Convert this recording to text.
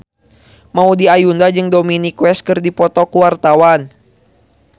Maudy Ayunda jeung Dominic West keur dipoto ku wartawan